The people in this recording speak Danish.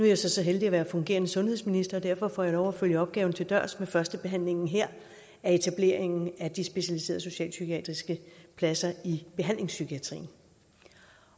jeg så så heldig at være fungerende sundhedsminister og derfor får jeg lov til at følge opgaven til dørs med førstebehandlingen her af etableringen af de specialiserede socialpsykiatriske pladser i behandlingspsykiatrien